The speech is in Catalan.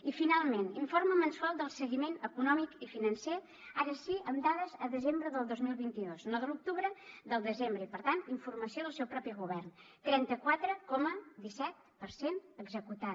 i finalment informe mensual del seguiment econòmic i financer ara sí amb dades a desembre del dos mil vint dos no de l’octubre del desembre i per tant informació del seu propi govern trenta quatre coma disset per cent executat